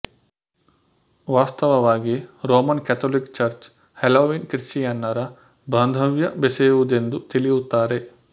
ವಾಸ್ತವವಾಗಿ Roman Catholic church Halloween ಕ್ರಿಶ್ಚಿಯನ್ನರ ಬಾಂಧವ್ಯ ಬೆಸೆಯುವುದೆಂದು ತಿಳಿಯುತ್ತಾರೆ